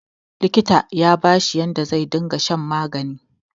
likita ya bashi yadda zai riga shan magani